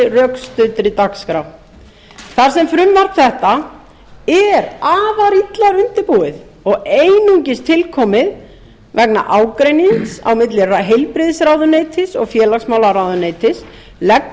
rökstuddri dagskrá þar sem frumvarp þetta er afar illa undirbúið og einungis tilkomið vegna ágreinings milli heilbrigðisráðuneytis og félagsmálaráðuneytis leggur minni